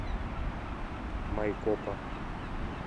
майкопа